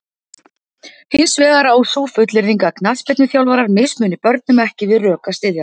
Hins vegar á sú fullyrðing að knattspyrnuþjálfarar mismuni börnum ekki við rök að styðjast.